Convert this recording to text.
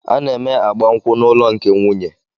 A na-eme agbamnkwu na ụlọ nke nwunye